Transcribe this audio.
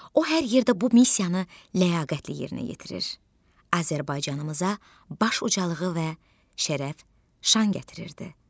O hər yerdə bu missiyanı ləyaqətlə yerinə yetirir, Azərbaycanımıza baş ucalığı və şərəf-şan gətirirdi.